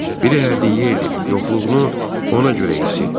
Biri hədiyyə edib, yoxluğunu ona görə hiss etdim.